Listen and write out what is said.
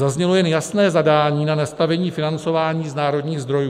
Zaznělo jen jasné zadání na nastavení financování z národních zdrojů.